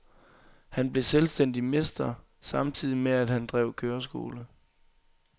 Han blev selvstændig mester samtidig med at han drev køreskole.